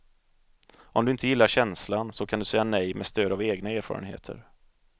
Om du inte gillar känslan, så kan du säga nej med stöd av egna erfarenheter.